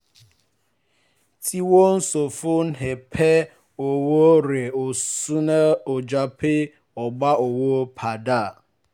tí wọ́n sọ fún her pé owó rẹ̀ sọnù ó jà pé ó gbà owó padà